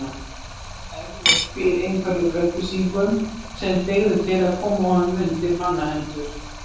Eflaust býr einhver yfir upplýsingum sem dygðu til að koma honum undir manna hendur.